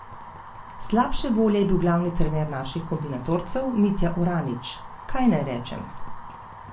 Eno izmed božičnih praznovanj je potekalo takole: "Zbrani v kolibi smo začeli praznovati Božič in sveti večer.